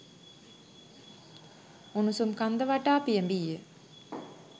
උණුසුම් කන්ද වටා පියෑඹීය